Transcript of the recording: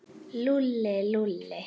Lúlli, Lúlli.